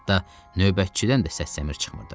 Hətta növbətçidən də səs-səmir çıxmırdı.